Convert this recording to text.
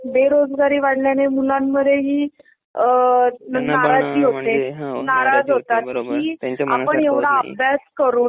बेरोजगारी वाढल्याने मुलांवर ही अ नाराजगी होते नाराज होतात की आपण एवढा अभ्यास करून